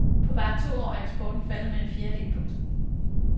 På bare to år er eksporten faldet med en fjerdedel. punktum